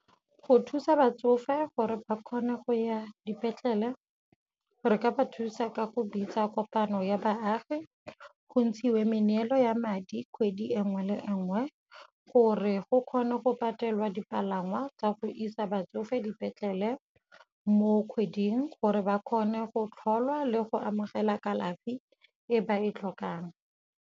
Go thusa batsofe gore ba kgone go ya dipetlele, re ka ba thusa ka go bitsa kopano ya baagi go ntshiwe meneelo ya madi kgwedi e nngwe le e nngwe gore go kgone go patelwa dipalangwa tsa go isa batsofe dipetlele mo kgweding, gore ba kgone go tlholwa le go amogela kalafi e ba e tlhokang.